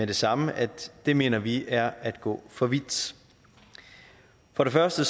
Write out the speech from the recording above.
det samme at det mener vi er at gå for vidt for det første